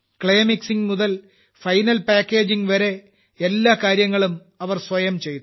clay mixing മുതൽ final packaging വരെ എല്ലാ കാര്യങ്ങളും അവർ സ്വയം ചെയ്തു